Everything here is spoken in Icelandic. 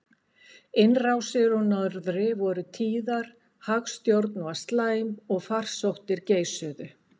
Innrásir úr norðri voru tíðar, hagstjórn var slæm og farsóttir geisuðu.